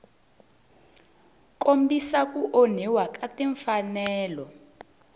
kombisa ku onhiwa ka timfanelo